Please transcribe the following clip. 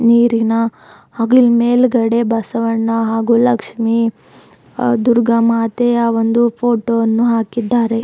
ನೀರಿನ ಹಾಗ್ ಮೇಲ್ಗಡೆ ಬಸವಣ್ಣ ಹಾಗೂ ಲಕ್ಷ್ಮಿ ದುರ್ಗಾ ಮಾತೆಯ ಒಂದು ಫೋಟೋ ವನ್ನು ಹಾಕಿದ್ದಾರೆ.